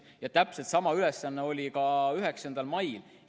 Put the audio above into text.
Ja täpselt sama ülesanne oli ka 9. mail.